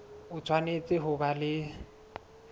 o tshwanetse ho ba le